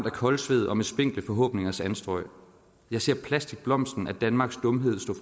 af koldsvedog med spinkle forhåbningers anstrøgjeg ser plasticblomsten af danmarks dumhed stå